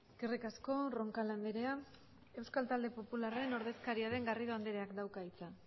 eskerrik asko roncal andrea euskal talde popularraren ordezkaria den garrido andreak dauka hitza